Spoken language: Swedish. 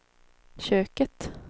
köket